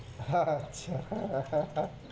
আচ্ছা